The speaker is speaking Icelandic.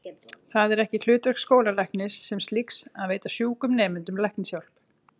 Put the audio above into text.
Það er ekki hlutverk skólalæknis sem slíks að veita sjúkum nemendum læknishjálp.